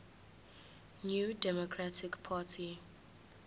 new democratic party